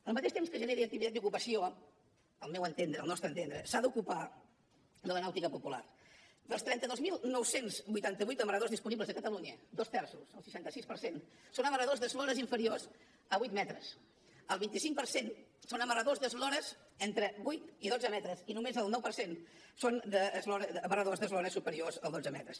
al mateix temps que generi activitat i ocupació al meu entendre al nostre entendre s’ha d’ocupar de la nàutica popular dels trenta dos mil nou cents i vuitanta vuit amarradors disponibles a catalunya dos terços el seixanta sis per cent són amarradors d’eslores inferiors a vuit metres el vint cinc per cent són amarradors d’eslores entre vuit i dotze metres i només el nou per cent són amarradors d’eslores superiors a dotze metres